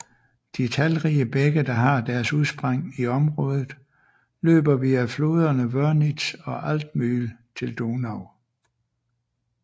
De talrige bække der har deres udspring i området løber via floderne Wörnitz og Altmühl til Donau